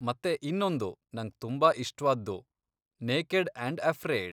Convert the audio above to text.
ಮತ್ತೆ ಇನ್ನೊಂದು ನಂಗ್ ತುಂಬಾ ಇಷ್ಟ್ವಾದ್ದು ನೇಕೆಡ್ ಆಂಡ್ ಅಫ್ರೇಯ್ಡ್.